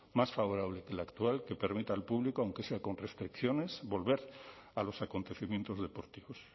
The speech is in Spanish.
más favorable que la actual que permita al público aunque sea con restricciones volver a los acontecimientos deportivos